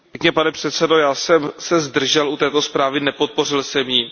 Pane předsedající, já jsem se zdržel u této zprávy, nepodpořil jsem ji.